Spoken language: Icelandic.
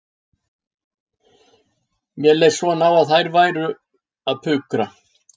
Mér leist svo á að þær væru að pukra